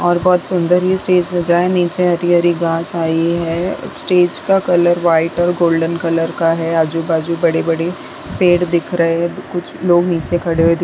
और बहुत सुंदर ये स्टेज सजा है नीचे हरी-हरी घास आई है स्टेज का कलर वाइट और गोल्डन कलर का है आजू-बाजू बड़े-बड़े पेड़ दिख रहें हैं कुछ लोग नीचे खड़े हुए दिख --